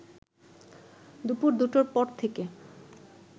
দুপুর দুটোর পর থেকে